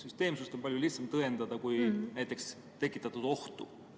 Süsteemsust on palju lihtsam tõendada, kui näiteks tekitatud ohtu.